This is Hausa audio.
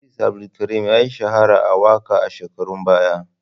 Idris Abdulkarim ya shahara a waƙa a shekarun baya.